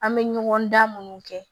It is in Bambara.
An bɛ ɲɔgɔndan minnu kɛ